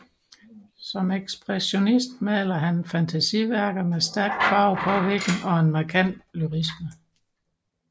Som ekspressionist maler han fantasiværker med stærk farvepåvirkning og en markant lyrisme